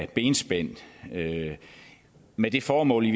benspænd med det formål